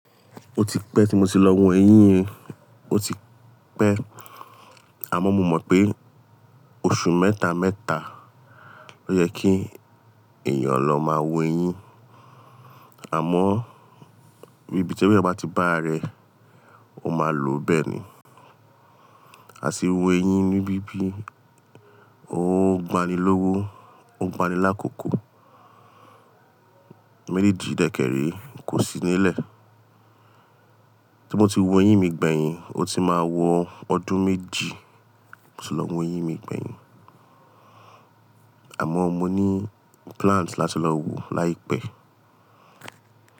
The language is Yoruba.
Ó ti pẹ́ tí mo ti lọ wo eyín yin, ó ti pẹ́ àmọ́ mo mọ̀ pé oṣù mẹ́ta, mẹ́ta ló yẹ kí èèyàn lọ máa wo eyín, àmọ́ ibí tí eyan bá ti bá ra rẹ̀, ó máa lò bẹ́ẹ̀ ni. A ti wo eyín níbí bí, ó gbani lówó, ó gbani lákòókò. Méjì dẹ́kẹ̀ree kò sí nílẹ̀. Tí mo ti wo eyín mi gbẹ̀yìn, ó ti máa wọ ọdún méjì tí mo ti lọ wo eyín mi gbẹ̀yìn. Àmọ́ mo ní plans láti lọ wo láìpẹ́.